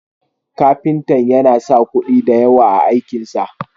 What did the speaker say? Kafintan yana sa kuɗi da yawa a aikin sa.